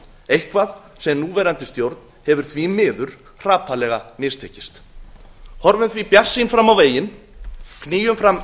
eitthvað sem núverandi stjórn hefur því miður hrapallega mistekist horfum því bjartsýn fram á veginn knýjum fram